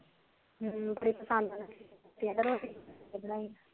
ਹਮ